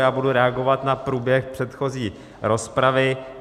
Já budu reagovat na průběh předchozí rozpravy.